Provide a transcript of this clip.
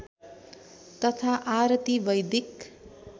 तथा आरती वैदिक